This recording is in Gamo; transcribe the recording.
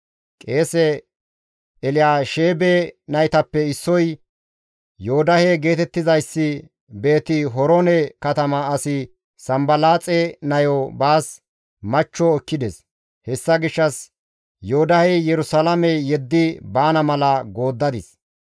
Qeese Elyaasheebe naytappe issoy Yoodahe geetettizayssi Beeti-Horoone katama asi Sanbalaaxe nayo baas machcho ekkides; Hessa gishshas Yoodahey Yerusalaame yeddi baana mala gooddadis.